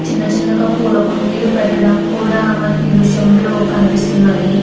చిన్న చిన్నగా పూల కుండీలు పెట్టడం కూడా మనకి దృశ్యంలో కనిపిస్తున్నాయి.